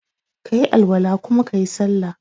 kayi Al-wala kuma kayi sallah.